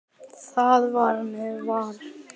Þar með var leiðin vörðuð.